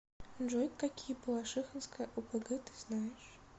джой какие балашихинская опг ты знаешь